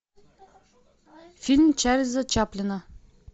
фильм чарльза чаплина